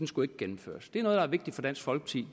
skulle gennemføres det er noget der er vigtigt for dansk folkeparti